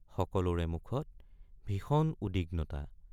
সকলোৰে মুখত ভীষণ উদ্বিগ্নতা।